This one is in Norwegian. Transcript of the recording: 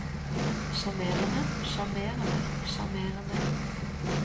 sjarmerende sjarmerende sjarmerende